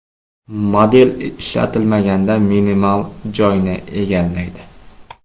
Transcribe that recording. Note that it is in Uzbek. Model ishlatilmaganda minimal joyni egallaydi.